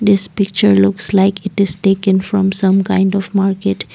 this picture looks like it is taken from some kind of market.